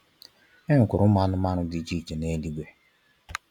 E nwekwara ụmụ anụmanụ dị iche iche neluigwe.